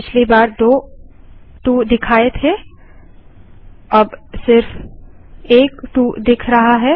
पिछली बार दो 2 दिखाए थे और अब सिर्फ एक 2 दिख रहा है